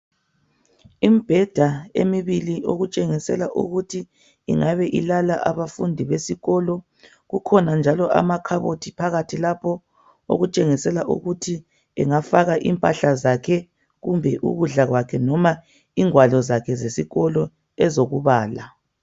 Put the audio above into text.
Imbheda emibili okutshengisela ukuthi ingabe ilala abafundi besikolo. Kukhona njalo amakhabothi phakathi lapho okutshengisela ukuthi angafaka impahla zakhe kumbe ukudla kwakhe noma ingwalo zakhe zesikolo ezokubala.